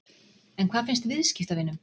En hvað finnst viðskiptavinum?